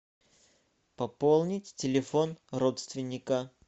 пополнить телефон родственника